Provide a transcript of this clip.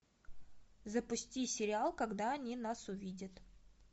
запусти сериал когда они нас увидят